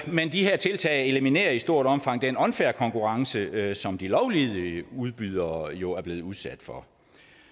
men de her tiltag eliminerer i stort omfang den unfair konkurrence som de lovlydige udbydere jo er blevet udsat for